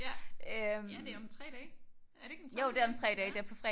Ja det om 3 dage er det ikke den tolvte